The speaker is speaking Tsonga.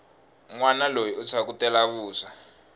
nwana loyi u phyakutela vuswa